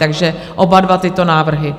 Takže oba dva tyto návrhy?